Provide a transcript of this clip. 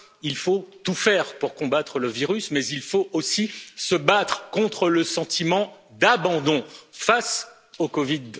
Il faut tout faire pour combattre le virus, mais il faut aussi se battre contre le sentiment d'abandon face à la COVID